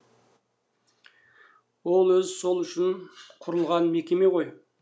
ол өзі сол үшін құрылған мекеме ғой